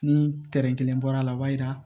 Ni kelen bɔra a la o b'a yira